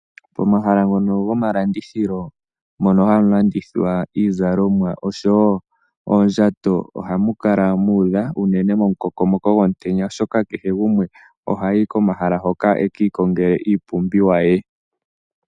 Pomahala ngono gomalandithilo mono hanu landithwa iizalomwa oshowo oondjato ohamu kala mu udha unene momukokomoko gomutenya, oshoka kehe gumwe ohayi komahala hoka a ka ikongele iipumbiwa ye.